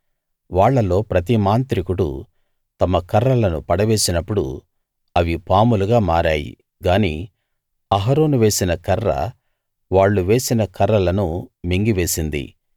వాళ్ళలో ప్రతి మాంత్రికుడూ తమ కర్రలను పడవేసినప్పుడు అవి పాములుగా మారాయి గాని అహరోను వేసిన కర్ర వాళ్ళు వేసిన కర్రలను మింగివేసింది